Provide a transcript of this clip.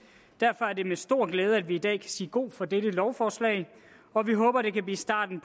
derfor er det med stor glæde vi i dag kan sige god for dette lovforslag og vi håber at det kan blive starten